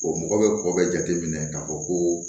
mɔgɔ bɛ kɔ bɛ jateminɛ k'a fɔ ko